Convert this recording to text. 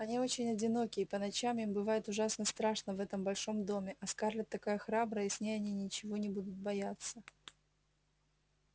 они очень одиноки и по ночам им бывает ужасно страшно в этом большом доме а скарлетт такая храбрая и с ней они ничего не будут бояться